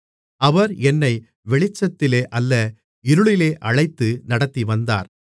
அவர் என்னை வெளிச்சத்திலே அல்ல இருளிலே அழைத்து நடத்திவந்தார்